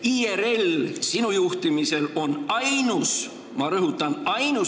IRL sinu juhtimisel on ainus – ma rõhutan, ainus!